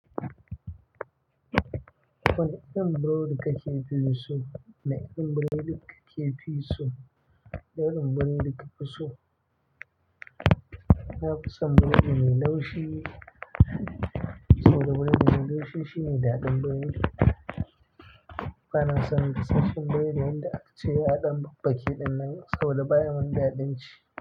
Wane irin burodi kake fi so? Wane irin buredi kake fi so? Na irin burodi kake fi so? Na fi son buredi mai laushi, saboda buredi mai laushi shine daɗin buredi. Bana son gasashshen buredi, wanda aka ce yaɗan babbake ɗinnan saboda baya mun daɗin ci.